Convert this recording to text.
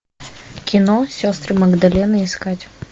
кино сестры магдалины искать